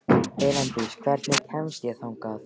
Elíndís, hvernig kemst ég þangað?